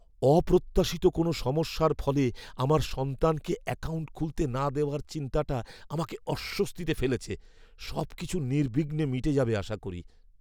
অপ্রত্যাশিত কোনও সমস্যার ফলে আমার সন্তানকে অ্যাকাউন্ট খুলতে না দেওয়ার চিন্তাটা আমাকে অস্বস্তিতে ফেলেছে, সবকিছু নির্বিঘ্নে মিটে যাবে আশা করি।